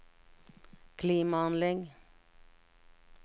klimaanlegg